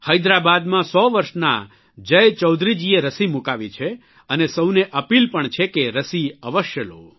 હૈદરાબાદમાં 100 વરસના જય ચૌધરીજીએ રસી મૂકાવી છે અને સૌને અપીલ પણ છે કે રસી અવશ્ય લો